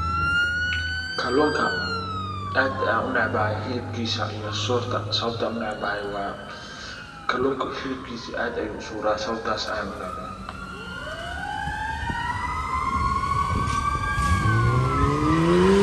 Kallunka aad aan u necbaahy xilibkisa iyo surta, sababta aan u necbahay waa kallunka xilibkisa aad buu u suura sababtas ayan u necbahay.